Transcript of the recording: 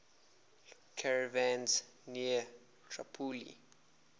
caravans near tripoli